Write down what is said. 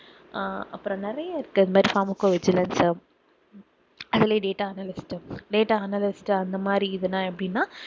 ஆஹ் அப்பறம் நிறைய இருக்கு இது மாதிரி pharmacovigilance உ அஹ் அதுலேயே data analyst data analyst அந்த மாதிரி இதுன்னா எப்படின்னா